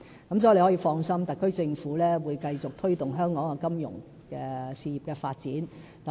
所以，張議員可以放心，特區政府會繼續推動香港金融事業的發展。